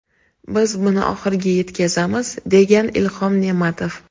Biz buni oxiriga yetkazamiz”, degan Ilhom Ne’matov.